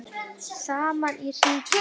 Saman í hring